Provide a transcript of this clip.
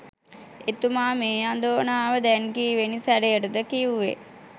එතුමා මේ අඳෝනාව දැන් කීවෙනි සැරයටද කිව්වෙ?